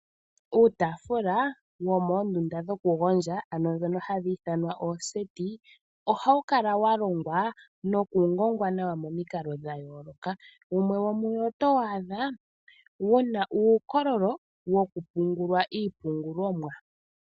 Uutafula womoondunda dhokugondja ano ndhono hadhi ithanwa ooseti, ohawu kala wa longwa nokungongwa nawa momikalo dha yooloka. Wumwe womuwo oto waadha wu na uukololo wokupungulwa iiipungulomwa.